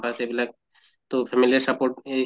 pass এইবিলাক তʼ family য়ে support এহ